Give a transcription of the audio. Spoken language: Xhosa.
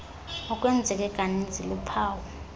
okwenzeke kaninzi luphawu